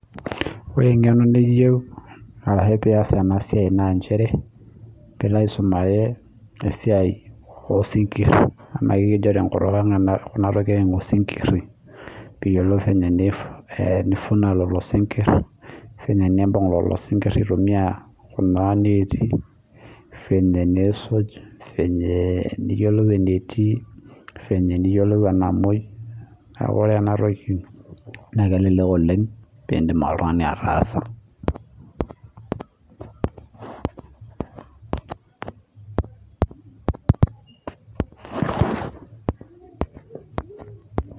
Ore eng'eno niyieu arashe piyas ena siai nanchere piilo aisumare esiai osinkirr anaa ikijo tenkop ang ena kuna tokiting osinkirri piyiolou fenye ene eh enifuna lelo sinkirr fenye enimbung lelo sinkirr aitumia kuna neeti fenye eniisuj fenye eniyiolou enetii fenye eniyiolou enamuoi neku ore enatoki naa kelelek oleng pindim oltung'ani ataasa.